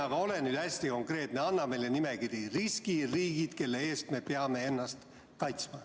Aga ole nüüd hästi konkreetne, anna meile nimekiri: riskiriigid, kelle eest me peame ennast kaitsma.